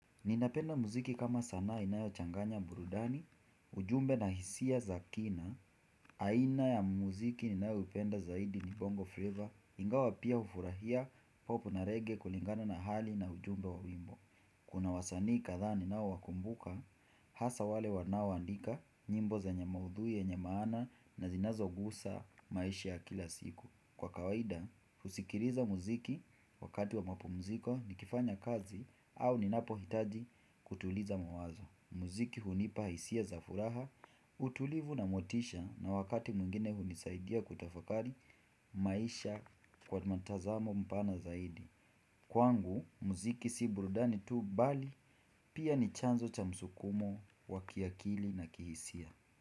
Ninapenda muziki kama sana inayo changanya burudani, ujumbe na hisia za kina, aina ya muziki ninayo upenda zaidi ni bongo flavor, ingawa pia ufurahia popu na reggae kulingana na hali na ujumbe wa wimbo. Kuna wasanii kadhaa ninao wakumbuka, hasa wale wanao andika nyimbo zenye maudhui yenye maana na zinazogusa maisha ya kila siku. Kwa kawaida, husikiriza muziki wakati wa mapumziko nikifanya kazi au ninapo hitaji kutuliza mawazo. Muziki hunipa hisia za furaha, utulivu na motisha na wakati mwingine hunisaidia kutafakari maisha kwa matazamo mpana zaidi. Kwangu, muziki si burudani tu bali pia ni chanzo cha msukumo wa kiakili na kihisia.